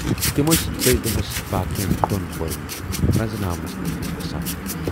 تِم ٲسۍ دٔہۍ دۅہَس باقین دۅن کوٗرٮ۪ن رٔنزٕناونَس لٔگۍمٕتۍ آسان۔